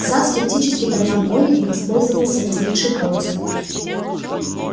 сатт скептически поднял брови и воспользовался возникшей паузой